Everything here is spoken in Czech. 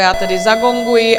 Já tedy zagonguji.